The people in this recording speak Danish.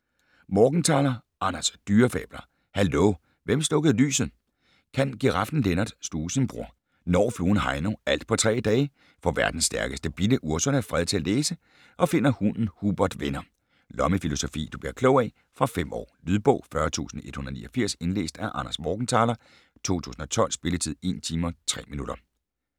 Morgenthaler, Anders: Dyrefabler - hallo! Hvem slukkede lyset? Kan giraffen Lennart sluge sin bror? Når fluen Heino alt på tre dage? Får verdens stærkeste bille, Ursula, fred til at læse? Og finder hunden Hubert venner? Lommefilosofi du bliver klog af. Fra 5 år. Lydbog 40189 Indlæst af Anders Morgenthaler, 2012. Spilletid: 1 timer, 3 minutter.